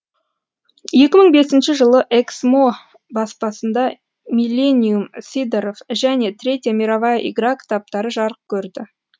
екі мың бесінші жылы эксмо баспасында миллениум сидоров және третья мировая игра кітаптары жарық көрді